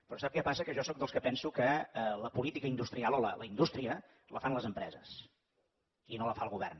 però sap què passa que jo sóc dels que penso que la política industrial o la indústria la fan les empreses i no la fa el govern